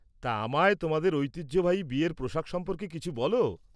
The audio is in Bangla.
তা, আমায় তোমাদের ঐতিহ্যবাহী বিয়ের পোশাক সম্পর্কে কিছু বল।